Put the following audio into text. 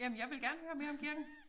Jamen jeg vil gerne høre mere om kirken